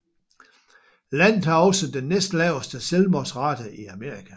Landet har også den næstlaveste selvmordsrate i Amerika